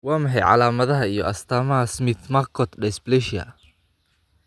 Waa maxay calaamadaha iyo calaamadaha Smith McCort dysplasia?